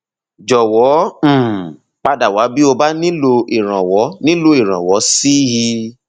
jọwọ um pada wá bí o bá nílò ìrànwọ nílò ìrànwọ sí i